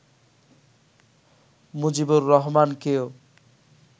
Mujibur রহমানকেও